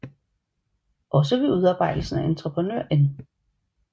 Også ved udarbejdelsen af Entreprenør N